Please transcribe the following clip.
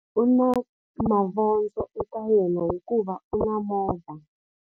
U na mavondzo eka yena hikuva u na movha.